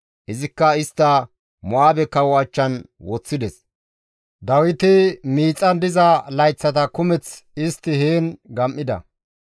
Izikka istta Mo7aabe kawo achchan woththides; Dawiti miixan diza layththata kumeth istti heen gam7ida.